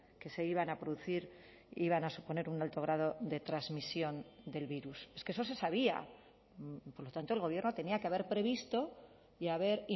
que se iban a producir iban a suponer un alto grado de transmisión del virus es que eso se sabía por lo tanto el gobierno tenía que haber previsto y haber